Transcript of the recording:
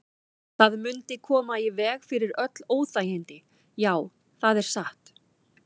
Það mundi koma í veg fyrir öll óþægindi, já, það er satt.